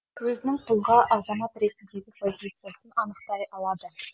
өзінің тұлға азамат ретіндегі позициясын анықтай алады